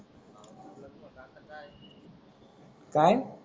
काय?